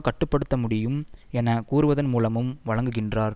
கட்டு படுத்த முடியும் என கூறுவதன் மூலமும் வழங்குகின்றார்